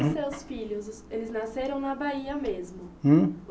E os seus filhos os, eles nasceram na Bahia mesmo? Hum?